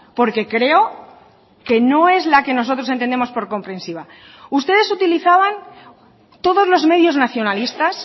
porque creo que no es la que nosotros entendemos por comprensiva ustedes utilizaban todos los medios nacionalistas